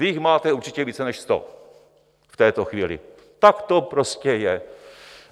Vy jich máte určitě více než sto v této chvíli, tak to prostě je.